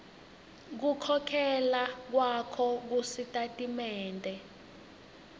kukhokhela kwakho kusitatimende